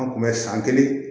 An kun bɛ san kelen